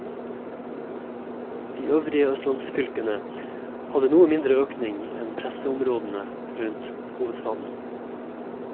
De øvrige østlandsfylkene hadde noe mindre økning enn pressområdene rundt hovedstaden.